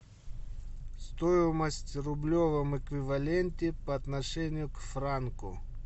стоимость в рублевом эквиваленте по отношению к франку